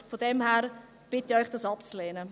Von daher bitte ich Sie, dies abzulehnen.